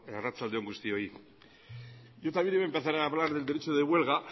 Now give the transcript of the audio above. arratsalde on guztioi yo también voy a empezar a hablar del derecho de huelga